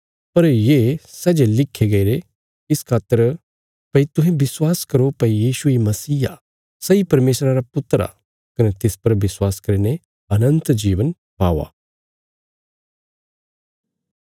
पर ये सै जे लिखे गईरे इस खातर भई तुहें विश्वास करो भई यीशु इ मसीह आ सैई परमेशरा रा पुत्र आ कने तिस पर विश्वास करीने अनन्त जीवन पाओ